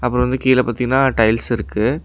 அப்றம் வந்து கீழ பாத்தீங்கனா டைல்ஸ் இருக்கு.